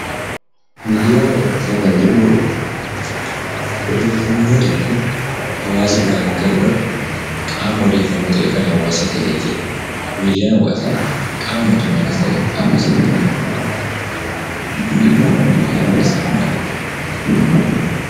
Miidiyaa hawaasaa kan jennu odeeffannoo tokko hawaasa biraan gahuudhaaf qaama odeeffannoo ta'ee kan hawaasa tajaajiludha. Miidiyaan hawaasaa qaama mootummaanis ta'e, hawaasaan hundeeffamudha. Miidhaan miidiyaa hawaasaa maali?